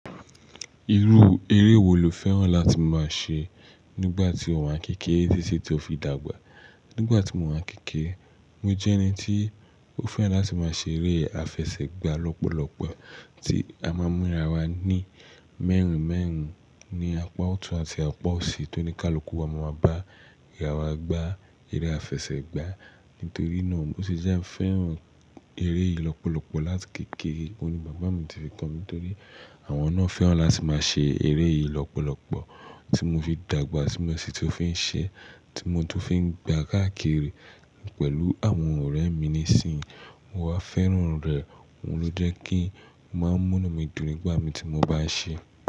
Irú eré wo lò fẹ́ràn láti máa ṣe nígbà tí o wà ni kékeré títí tó fi dàgbà? Nígbà tí mò wa ń kékeré, mo jẹ́ ẹni tí ó fẹ́ràn láti máa ṣe eré àfẹsẹ̀gbá lọ́pọ̀lọpọ̀ tí a máa ń múra wa ní mẹ́rin mẹ́rin, ní apá ọ̀tún àti apá òsì tó ní ká lọ kú. Ọmọ wa bá ìyá wa gbá eré àfẹsẹ̀gbá. Nítorí náà o ti jẹ́ ń fẹ́ràn eré yìí lọ́pọ̀lọpọ̀ láti kékeré. Ó ní bàbá mi ti fi kọ́ mí nítorí àwọn náà fẹ́ràn láti máa ṣe eré yìí lọ́pọ̀lọpọ̀ tí mo fi dàgbà tí mo sì tún fi ń ṣe, tí mo tún fi ń gbá káàkiri pẹ̀lú àwọn ọ̀rẹ́ mi nísìínyi. Mo wá fẹ́ràn rẹ̀, òun ló jẹ́ kí máa ń múná mi dùn nígbà mi tí mo bá ṣe é.